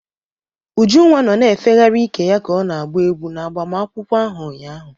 Ujunwa nọ na-efegharị ike ya ka ọ na-agba egwu n'agbamakwụkwọ ahụ ụnyaahụ.